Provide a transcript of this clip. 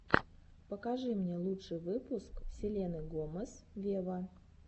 покажи мне лучший выпуск селены гомес вево